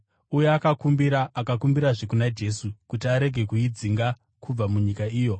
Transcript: Uye akakumbira akumbirazve kuna Jesu kuti arege kuidzinga kubva munyika iyo.